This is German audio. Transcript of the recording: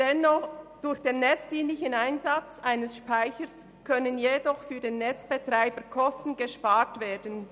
Durch den netzdienlichen Einsatz eines Speichers kann der Netzbetreiber dennoch Kosten sparen.